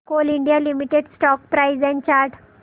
Coal India Limited stock price and chart